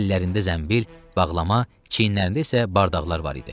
Əllərində zənbil, bağlama, çiyinlərində isə bardaqlar var idi.